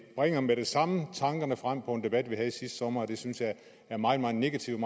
bringer med det samme tankerne frem mod en debat vi havde sidste sommer jeg synes det er meget meget negativt